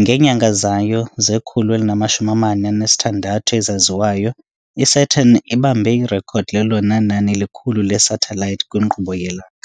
Ngeenyanga zayo ze-146 ezaziwayo, iSaturn ibambe irekhodi lelona nani likhulu lesathelayithi kwinkqubo yelanga.